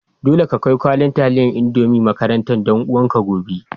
Dole ka kai kwallin talliyan indomie makarantan dan uwan ka gobe.